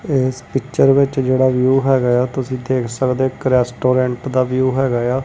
ਏਸ ਪਿੱਚਰ ਵਿੱਚ ਜਿਹੜਾ ਵਿਊ ਹੈਗਾ ਆ ਤੁਸੀਂ ਦੇਖ ਸਕਦੇ ਔ ਇੱਕ ਰੈਸਟੋਰੈਂਟ ਦਾ ਵਿਊ ਹੈਗਾ ਏ ਆ।